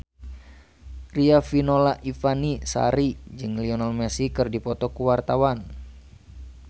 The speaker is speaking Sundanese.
Riafinola Ifani Sari jeung Lionel Messi keur dipoto ku wartawan